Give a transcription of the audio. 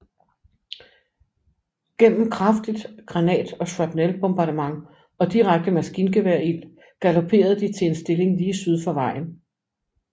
Gennem kraftig granat og shrapnel bombardement og direkte maskingeværild galopperede de til en stilling lige syd for vejen